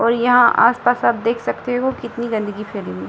और यहाँ आस-पास आप देख सकते हो कितनी गन्दगी फैली हुई है।